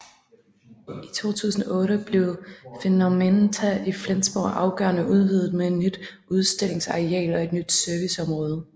I 2008 blev Phänomenta i Flensborg afgørende udvidet med et nyt udstillungsareal og et nyt serviceområde